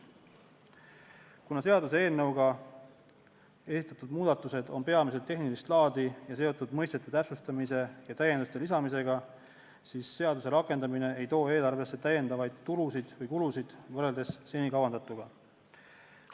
Kuna seaduseelnõuga esitatud muudatused on peamiselt tehnilist laadi ning seotud mõistete täpsustamise ja täienduste lisamisega, siis seaduse rakendamine eelarvesse lisatulusid ja -kulusid võrreldes senikavandatuga ei too.